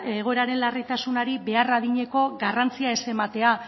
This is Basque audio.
egoeraren larritasunaren behar adineko garrantzia ez ematea